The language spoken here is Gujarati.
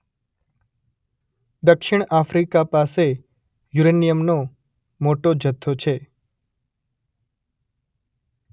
દક્ષિણ આફ્રિકા પાસે યુરેનિયમનો મોટો જથ્થો છે